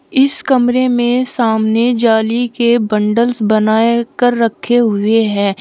इस कमरे में सामने जाली के बंडल्स बनाए कर रखे हुए है।